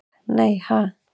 Nei ha?